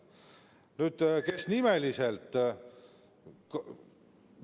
Nüüd, kes nimeliselt?